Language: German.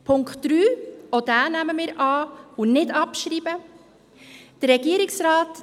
Auch Punkt 3 nehmen wir an, er soll nicht abgeschrieben werden.